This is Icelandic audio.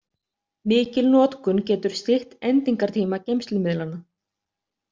Mikil notkun getur stytt endingartíma geymslumiðlanna.